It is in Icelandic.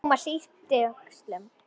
Thomas yppti öxlum.